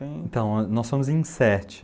Então, nós somos em sete.